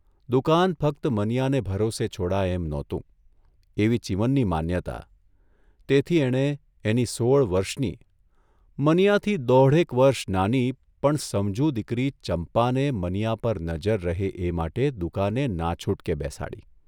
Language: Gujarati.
દુકાન ફક્ત મનીયાને ભરોસે છોડાય એમ નહોતુ એવી ચીમનની માન્યતા તેથી એણે એની સોળ વર્ષની, મનીયાથી દોઢેક વર્ષ નાની, પણ સમજુ દીકરી ચંપાને મનીયા પર નજર રહે એ માટે દુકાને નાછૂટકે બેસાડી.